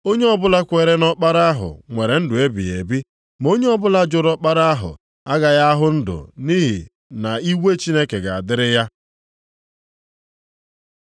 Onye ọbụla kwere nʼỌkpara ahụ nwere ndụ ebighị ebi, ma onye ọbụla jụrụ Ọkpara ahụ agaghị ahụ ndụ nʼihi na iwe Chineke ga-adịrị ya.”